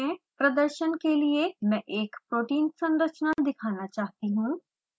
प्रदर्शन के लिए मैं एक protein संरचना दिखाना चाहती हूँ